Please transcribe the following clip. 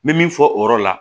N bɛ min fɔ o yɔrɔ la